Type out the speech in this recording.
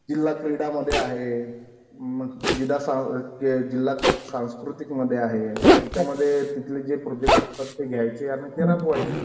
जिल्हा क्रीडा मध्ये आहे. जिल्हा सांस्कृतिक मध्ये आहे. त्यामध्ये तिथले जे प्रोजेक्ट असतात घ्यायचे आणि ते राबवायचे.